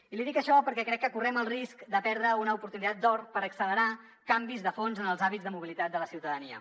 i li dic això perquè crec que correm el risc de perdre una oportunitat d’or per accelerar canvis de fons en els hàbits de mobilitat de la ciutadania